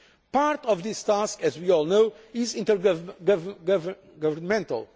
Part of this task, as we all know, is intergovernmental.